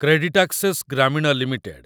CreditAccess Grameen limited